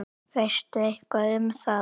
Veistu eitthvað um það?